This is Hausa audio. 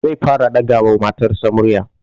Zai fara ɗaga wa matarsa murya